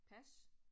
Pas